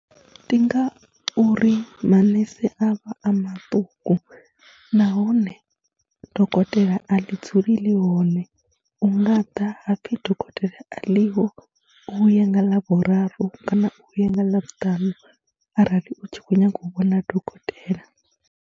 Ndi nga uri manese a vha a maṱuku nahone dokotela a ḽi dzuli ḽi hone, hu nga ḓa ha pfhi dokotela a ḽiho, vhuya nga ḽavhuraru kana u vhuye nga ḽavhutanu arali u tshi khou nyaga u vhona dokotela.